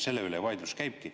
Selle üle vaidlus käibki.